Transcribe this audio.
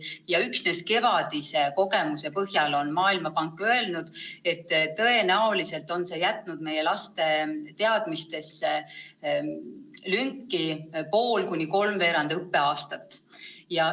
Ja üksnes läinud kevadise kogemuse põhjal on Maailmapank hinnanud, et tõenäoliselt on see jätnud laste teadmistesse lünki pool kuni kolmveerand õppeaastat.